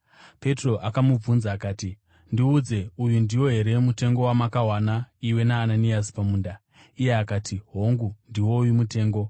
Petro akamubvunza akati, “Ndiudze, uyu ndiwo here mutengo wamakawana, iwe naAnaniasi, pamunda?” Iye akati, “Hongu, ndiwoyu mutengo.”